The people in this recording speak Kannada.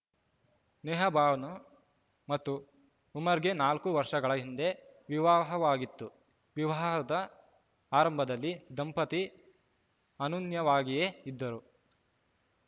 ನೇಹಾಬಾನು ಮತ್ತು ಉಮರ್‌ಗೆ ನಾಲ್ಕು ವರ್ಷಗಳ ಹಿಂದೆ ವಿವಾಹವಾಗಿತ್ತು ವಿವಾಹದ ಆರಂಭದಲ್ಲಿ ದಂಪತಿ ಅನುನ್ಯೂವಾಗಿಯೇ ಇದ್ದರು